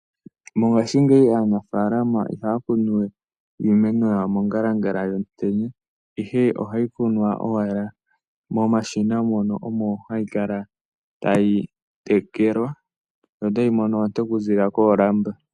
Mongashingeyi aanafaalama ihaya kunu we iimeno yawo mongalangala yomutenya, ashike ohayi kunwa owala momashina mono hayi kala tayi tekelwa yo tayi mono oonte okuziilila koolamba.